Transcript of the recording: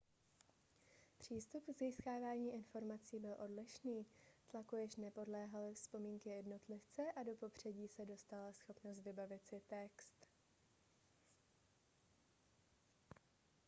přístup k získávání informací byl odlišný tlaku již nepodléhaly vzpomínky jednotlivce a do popředí se dostala schopnost vybavit si text